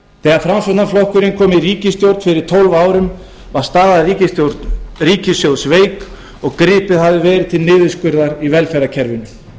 þegar framsóknarflokkurinn kom í ríkisstjórn fyrir tólf árum var staða ríkissjóðs veik og gripið hafði verið til niðurskurðar í velferðarkerfinu